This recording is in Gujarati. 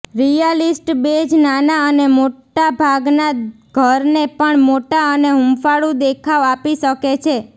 રિયાલિસ્ટ બેજ નાના અને મોટાભાગના ઘરને પણ મોટા અને હૂંફાળું દેખાવ આપી શકે છે